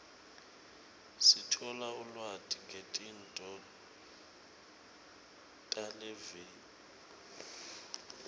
sithola ulwati ngetinto talelive